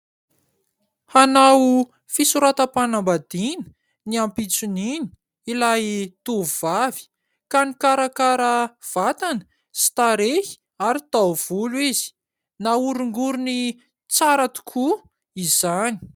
Hanao fisoratam-panam-badina ny ampitson'iny ilay tovovavy ka mikarakara vatana sy tarehy ary tao-volo izy. Nahorongorony tsara tokoa izany.